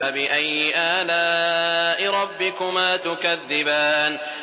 فَبِأَيِّ آلَاءِ رَبِّكُمَا تُكَذِّبَانِ